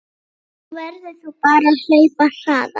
Þá verður þú bara að hlaupa hraðar